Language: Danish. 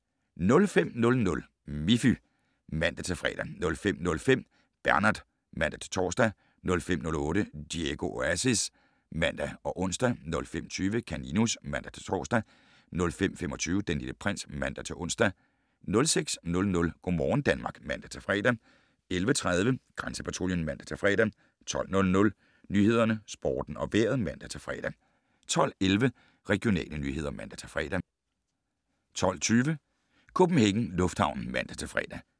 05:00: Miffy (man-fre) 05:05: Bernard (man-tor) 05:08: Diego Oasis (man og ons) 05:20: Kaninus (man-tor) 05:25: Den Lille Prins (man-ons) 06:00: Go' morgen Danmark (man-fre) 11:30: Grænsepatruljen (man-fre) 12:00: Nyhederne, Sporten og Vejret (man-fre) 12:11: Regionale nyheder (man-fre) 12:20: CPH Lufthavnen (man-fre)